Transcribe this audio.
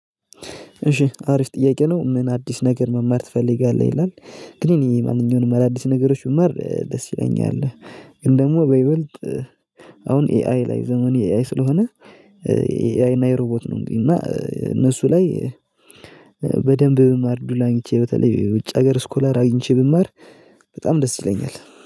እሺ አሪፍ ጥያቄ ነው? ምን አዲስ ነገር መማር ትፈልጋለህ ይላል። ግን ይሄ ማንኛውንም አዳዲስ ነገሮች ብማር ደስ ይለኛል። ግን ደግሞ በይበልጥ አሁን ኤአይ ላይ ዘመኑ የ ኤአይ ስለሆነ። ኤአይ እና የሮቦት ነው እና እነሱ ላይ በደንብ ብማር እዱሉን አግኝቼ በተለይ ውጭ ሀገር ስኮላር አግኝቼ ብማር። በጣም ደስ ይለኛል